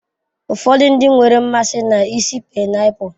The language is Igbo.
Ụfọdụ ndị nwere mmasị na ísì painiapulu.